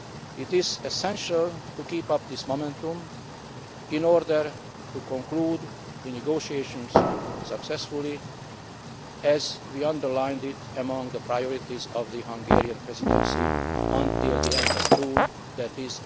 It is essential to keep up this momentum in order to conclude the negotiations successfully, as underlined among the priorities of the Hungarian Presidency until the end of June,